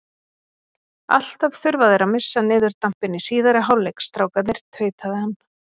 Alltaf þurfa þeir að missa niður dampinn í síðari hálfleik, strákarnir, tautaði hann.